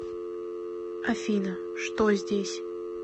афина что здесь